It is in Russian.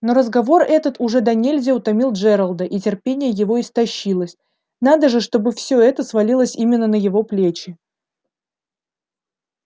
но разговор этот уже донельзя утомил джералда и терпение его истощилось надо же чтобы всё это свалилось именно на его плечи